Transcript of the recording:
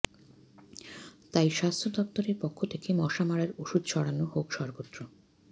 তাই স্বাস্থ্য দফতরের পক্ষ থেকে মশা মারার ওষুধ ছড়ানো হোক সর্বত্র